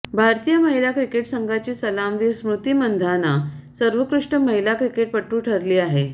भारतीय महिला क्रिकेट संघाची सलामीवीर स्मृती मंधाना सर्वोत्कृष्ट महिला क्रिकेटपटू ठरली आहे